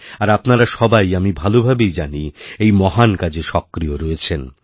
আর আপনারাসবাই আমি ভালো ভাবেই জানি এই মহান কাজে সক্রিয় রয়েছেন